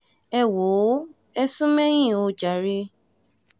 ẹ wò ó ẹ̀ sún mẹ̀yìn ò jàre